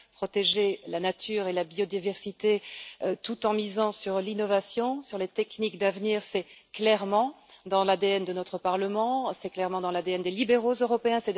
Protéger la nature et la biodiversité tout en misant sur l'innovation, sur les techniques d'avenir, c'est clairement dans l'ADN de notre Parlement, c'est clairement dans l'ADN des libéraux européens.